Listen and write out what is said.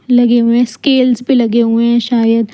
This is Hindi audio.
लगे हुए स्केलस भी लगे हुए हैं शायद।